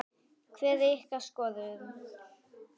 Hver er ykkar skoðun?